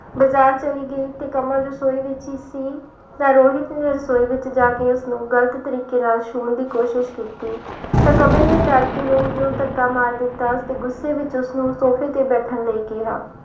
ਬਾਜ਼ਾਰ ਚਲੀ ਗਈ ਤੇ ਕਮਲ ਰਸੌਈ ਵਿੱਚ ਹੀ ਸੀ ਤਾਂ ਰੋਹਿਤ ਨੇ ਰਸੌਈ ਵਿੱਚ ਜਾ ਕੇ ਉਸਨੂੰ ਗ਼ਲਤ ਤਰੀਕੇ ਨਾਲ ਛੂਹਣ ਦੀ ਕੋਸ਼ਿਸ਼ ਕੀਤੀ, ਤਾਂ ਕਮਲ ਨੇ ਡਰ ਕੇ ਰੋਹਿਤ ਨੂੰ ਧੱਕਾ ਮਾਰ ਦਿੱਤਾ ਤੇ ਗੁੱਸੇ ਵਿੱਚ ਉਸਨੂੰ ਸੋਫ਼ੇ ਤੇ ਬੈਠਣ ਲਈ ਕਿਹਾ।